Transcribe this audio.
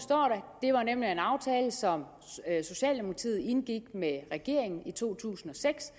i som socialdemokratiet indgik med regeringen i to tusind og seks